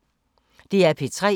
DR P3